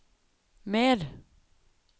mer